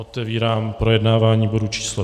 Otevírám projednávání bodu číslo